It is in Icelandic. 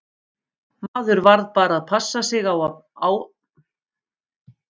Maður varð bara að passa sig á að álpast ekki inn á æfingasvæðin.